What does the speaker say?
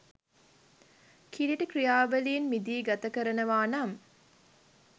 කිළිටි ක්‍රියාවලින් මිදී ගත කරනවා නම්